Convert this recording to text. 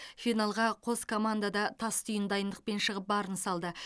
финалға қос команда да тастүйін дайындықпен шығып барын салды